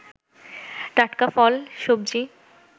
টাটকা ফল, সবজি